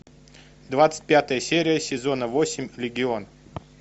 двадцать пятая серия сезона восемь легион